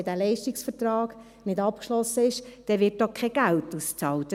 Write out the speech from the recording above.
Wenn der Leistungsvertrag nicht abgeschlossen ist, wird auch kein Geld ausbezahlt.